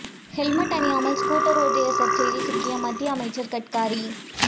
helmet அணியாமல் scooter ஓட்டி சர்ச்சையில் சிக்கிய மத்திய அமைச்சர் கட்காரி